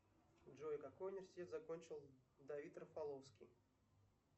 джой какой университет закончил давид рафаловский